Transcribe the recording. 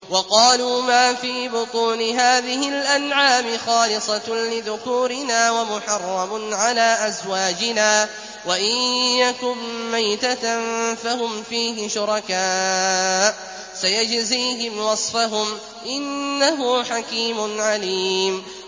وَقَالُوا مَا فِي بُطُونِ هَٰذِهِ الْأَنْعَامِ خَالِصَةٌ لِّذُكُورِنَا وَمُحَرَّمٌ عَلَىٰ أَزْوَاجِنَا ۖ وَإِن يَكُن مَّيْتَةً فَهُمْ فِيهِ شُرَكَاءُ ۚ سَيَجْزِيهِمْ وَصْفَهُمْ ۚ إِنَّهُ حَكِيمٌ عَلِيمٌ